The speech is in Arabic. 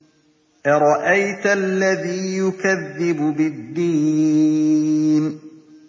أَرَأَيْتَ الَّذِي يُكَذِّبُ بِالدِّينِ